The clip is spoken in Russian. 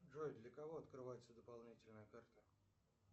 джой для кого открывается дополнительная карта